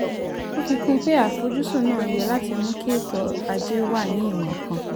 ó fi kún un pé àfojúsùn náà yẹ láti mú kí ètò ajé wà ní ìwọ̀n kan.